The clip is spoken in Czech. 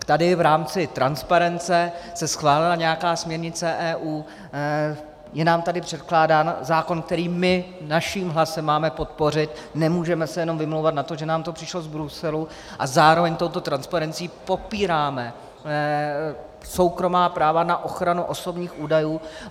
Tady v rámci transparence se schválila nějaká směrnice EU, je nám tady předkládán zákon, který my svým hlasem máme podpořit, nemůžeme se jenom vymlouvat na to, že nám to přišlo z Bruselu, a zároveň touto transparencí popíráme soukromá práva na ochranu osobních údajů.